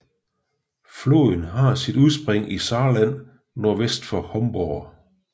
Floden har sit udspring i Saarland nordvest for Homburg